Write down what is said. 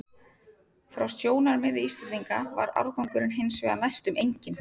Frá sjónarmiði Íslendinga var árangurinn hins vegar næstum enginn.